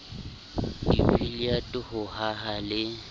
di billiard ho haha le